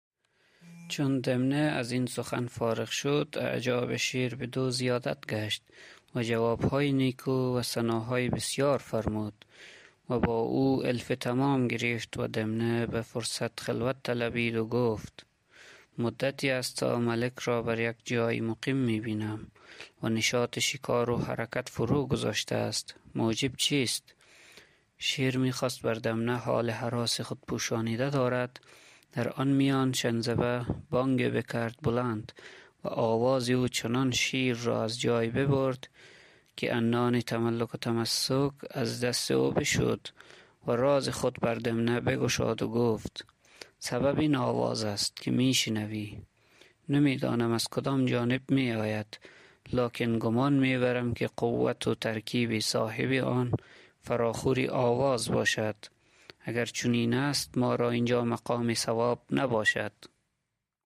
چون دمنه از این سخن فارغ شد اعجاب شیر بدو زیادت گشت و جواب های نیکو و ثناهای بسیار فرمود و با او الفی تمام گرفت و دمنه به فرصت خلوت طلبید و گفت مدتی است تا ملک را بر یک جای مقیم می بینم و نشاط شکار و حرکت فرو گذاشته است موجب چیست شیر می خواست که بر دمنه حال هراس خود پوشانیده دارد در آن میان شنزبه بانگی بکرد بلند و آواز او چنان شیر را از جای ببرد که عنان تملک و تماسک از دست او بشد و راز خود بر دمنه بگشاد و گفت سبب این آواز است که می شنوی نمی دانم که از کدام جانب می آید لکن گمان می برم که قوت و ترکیب صاحب آن فراخور آواز باشد اگر چنین است ما را اینجا مقام صواب نباشد دمنه گفت جز بدین آواز ملک را از وی هیچ ریبتی دیگر بوده است گفت نی گفت نشاید که ملک بدین موجب مکان خویش خالی گذارد و از وطن مالوف خود هجرت کند چه گفته اند که آفت عقل تصلف است و آفت مروت چربک و آفت دل ضعیف آواز قوی و در بعضی امثال دلیل است که به هر آواز بلند و جثه قوی التفات نشاید نمود شیر گفت چگونه است آن گفت